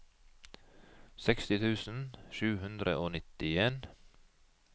seksti tusen sju hundre og nittien